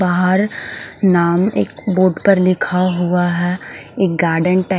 बाहर नाव एक बुक पर लिखा हुआ है एक गार्डन टाइप --